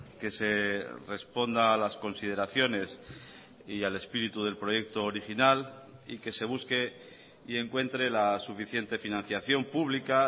que se responda a las consideraciones y al espíritu del proyecto original y que se busque y encuentre la suficiente financiación pública